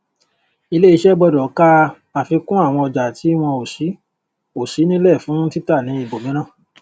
ilé iṣé gbódò kaafikún àwọn ọjà tí wọn o sí o sí nílè fún títà ní ibòmíràn